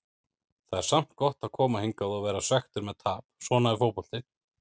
Það er samt gott að koma hingað og vera svekktur með tap, svona er fótboltinn.